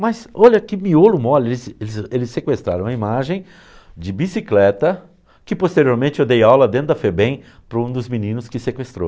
Mas, olha que miolo mole, eles sequestraram a imagem de bicicleta, que posteriormente eu dei aula dentro da FEBEM para um dos meninos que sequestrou.